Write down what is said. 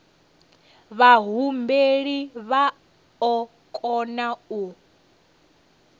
vhahumbeli vha o kona u